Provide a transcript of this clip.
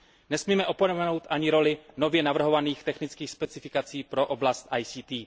Nesmíme opomenout ani roli nově navrhovaných technických specifikací pro oblast IKT.